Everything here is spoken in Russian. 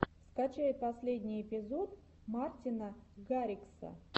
скачай последний эпизод мартина гаррикса